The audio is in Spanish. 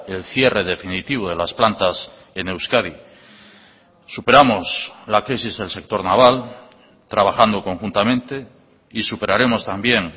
el cierre definitivo de las plantas en euskadi superamos la crisis del sector naval trabajando conjuntamente y superaremos también